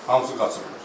Hamısı qaçıb.